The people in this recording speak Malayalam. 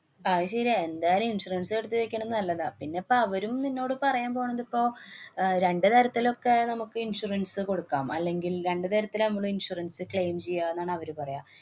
അത് ശരിയാ. എന്തായാലും insurance എടുത്തു വയ്ക്കണ നല്ലതാ. പിന്നെപ്പ അവരും നിന്നോട് പറയാന്‍ പോണതിപ്പോ അഹ് രണ്ടു തരത്തിലൊക്കെ നമുക്ക് insurance കൊടുക്കാം. അല്ലെങ്കില്‍ രണ്ടു തരത്തിലാ നമ്മള് insuranceclaim ചെയ്യാ എന്നാണവര് പറയ.